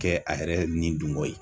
Kɛ a yɛrɛ ni dun ko ye.